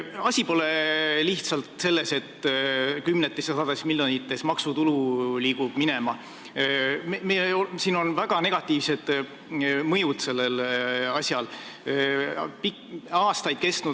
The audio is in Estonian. Asi pole lihtsalt selles, et kümnetes ja sadades miljonites maksutulu liigub minema – sellel asjal on väga negatiivsed mõjud.